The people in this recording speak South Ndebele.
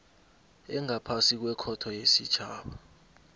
engaphasi kwekhotho yesitjhaba